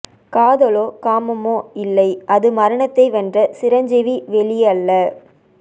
காதலோ காமமோ இல்லை அது மரணத்தை வென்ற சிரஞ்சீவி வெளி அல்ல